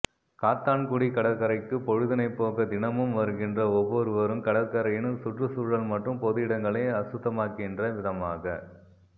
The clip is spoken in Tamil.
காத்தான்குடி கடற்கரைக்கு பொழுதினைப் போக்க தினமும் வருகின்ற ஒவ்வொருவரும் கடற்கரையின் சுற்றுச்சூழல் மற்றும் பொது இடங்களை அசுத்தமாக்கின்ற விதமாக